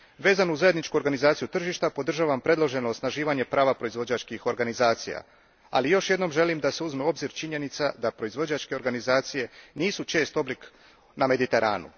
Vezano uz zajedničku organizaciju tržišta, podržavam predloženo osnaživanje prava proizvođačkih organizacija, ali još jednom želim da se uzme u obzir činjenica da proizvođačke organizacije nisu čest oblik na Mediteranu.